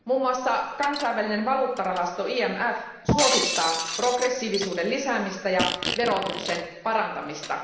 Muun muassa kansainvälinen valuuttarahasto IMF suosittaa progressiivisuuden lisäämistä ja verotuksen parantamista.